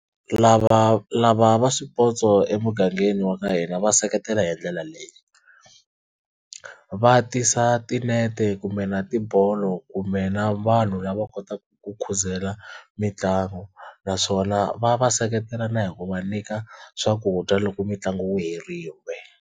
Lava lava va swipotso emugangeni wa ka hina va seketela hi ndlela leyi va tisa tinete kumbe na tibolo kumbe na vanhu lava kotaka ku khuzela mitlangu naswona va va seketela na hi ku va nyika swakudya loko mitlangu yi herile.